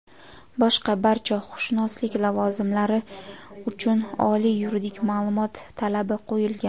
boshqa barcha huquqshunoslik lavozimlari uchun oliy yuridik maʼlumot talabi qo‘yilgan.